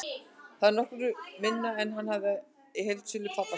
Það er nokkru minna en hann hafði í heildsölu pabba síns.